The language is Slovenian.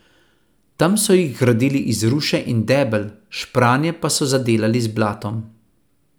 Tam so jih gradili iz ruše in debel, špranje pa so zadelali z blatom.